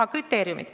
Aa, kriteeriumid.